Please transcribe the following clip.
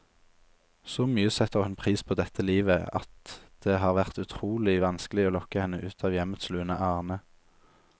Så mye setter hun pris på dette livet, at det har vært utrolig vanskelig å lokke henne ut av hjemmets lune arne.